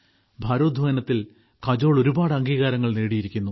ഭാരോദ്വഹനത്തിൽ കജോൾ ഒരുപാട് അംഗീകാരങ്ങൾ നേടിയിരിക്കുന്നു